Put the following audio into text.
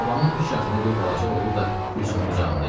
Şabanın üç yaşında bir balaca oğlu da Gülsümün qucağında idi.